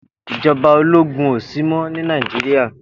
Ijòbá ólógún ósímò ni Nàijirá